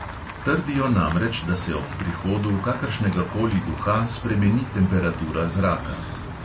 Trdijo namreč, da se ob prihodu kakršnega koli duha spremeni temperatura zraka.